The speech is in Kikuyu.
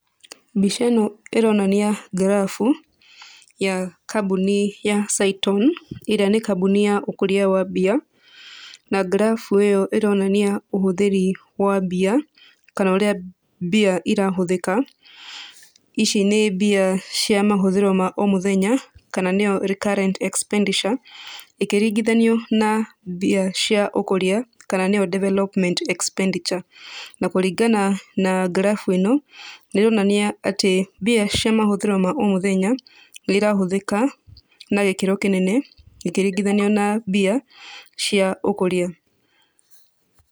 Mbica ĩno ĩronania ngirabu ya kambuni ya Cyton ĩrĩa nĩ kambuni ya ũkũria wa mbia na ngirabu ĩyo ĩronania ũhũthĩri wa mbia kana ũrĩa mbia irahũthĩka. Ici nĩ mbia cia mahũthĩro ma o mũthenya kana nĩyo recurrent expenditure ĩkĩringithanio na mbia cia ũkũria kana nĩyo development expenditure na kũringana na ngirabu ĩno nĩĩronania atĩ mbia cia mahũthĩro ma o mũthenya nĩ irahũthĩka na gĩkĩro kĩnene ĩkĩringithanio na mbia cia ũkũria.